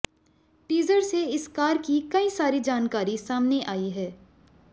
teaser से इस car की कई सारी जानकारी सामने आई हैं